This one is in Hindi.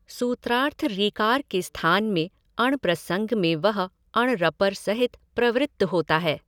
सूत्रार्थ ऋकार के स्थान में अण् प्रसङ्ग में वह अण् रपर सहित प्रवृत्त होता है।